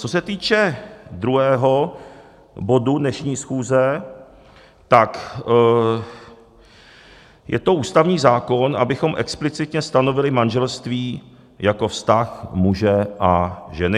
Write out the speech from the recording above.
Co se týče druhého bodu dnešní schůze, tak je to ústavní zákon, abychom explicitně stanovili manželství jako vztah muže a ženy.